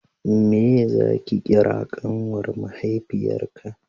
meye za ki kira ƙanwar mahaifiyar ka